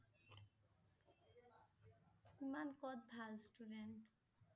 ইমান কত ভাল student